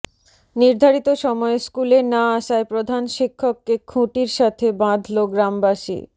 নির্ধারিত সময়ে স্কুলে না আসায় প্রধান শিক্ষককে খুঁটির সাথে বাঁধল গ্রামবাসী